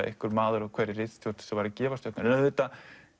einhver maður á hverri ritstjórn sem væri að gefa stjörnur en auðvitað